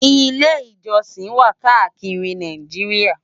Ilè-ijòsin wá kàákiri Náijiriá